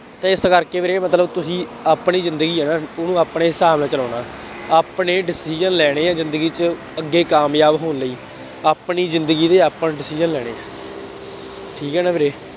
ਇਸ ਕਰਕੇ ਵੀਰੇ ਮਤਲਬ ਤੁਸੀਂ ਆਪਣੀ ਜ਼ਿੰਦਗੀ ਹੈ ਨਾ ਉਹਨੂੰ ਆਪਣੇ ਹਿਸਾਬ ਨਾਲ ਚਲਾਉਣਾ, ਆਪਣੇ decision ਲੈਣੇ ਆ ਜ਼ਿੰਦਗੀ ਚ, ਅੱਗੇ ਕਾਮਯਾਬ ਹੋਣ ਲਈ, ਆਪਣੀ ਜ਼ਿੰਦਗੀ ਦੇ ਆਪਣੇ decision ਲੈਣੇ ਆ, ਠੀਕ ਹੈ ਨਾ ਵੀਰੇ।